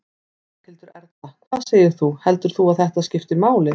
Berghildur Erla: Hvað segir þú, heldur þú að þetta skipti máli?